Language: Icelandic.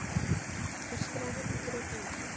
öskraði hann og greip um munninn.